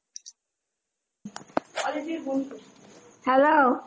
-noise hello